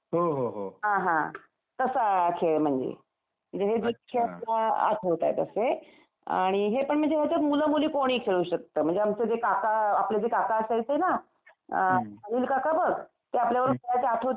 हां हां तसा खेळ म्हणजे. म्हणजे हे खेळ आत होतात असे. आणि हे पण म्हणजे असं मुलं मुली कोणीही खेळू शकतं. म्हणजे आमचे जे काका, आपले जे काका असायचे ना, अम अनिल काका बघ ते आपल्या बरोबर खेळायचे आठवतंय का बघ तुला.